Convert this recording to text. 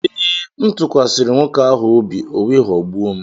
Ee, m tụkwasịrị nwoke ahụ obi, o wee ghọgbuo m